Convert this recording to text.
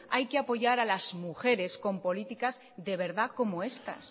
hay que apoyar a las mujeres con políticas de verdad como esta